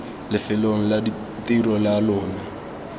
lefelong la tiro la lona